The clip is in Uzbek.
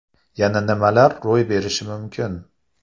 Yana nimalar ro‘y berishi mumkin?